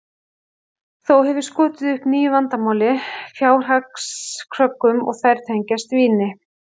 Þó hefur skotið upp nýju vandamáli, fjárhagskröggum, og þær tengjast víni.